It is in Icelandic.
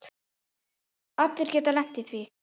Allir geta lent í því.